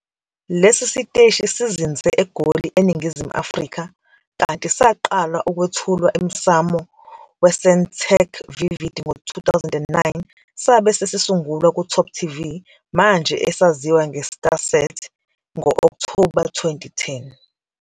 Lesi siteshi sizinze eGoli eNingizimu Afrika kanti saqala ukwethulwa emsamo weSentech's Vivid ngo-2009 sabe sesisungulwa kuTopTV, manje esaziwa ngeStarSat, ngo-Okthoba 2010.